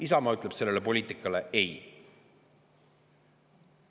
Isamaa ütleb sellele poliitikale ei.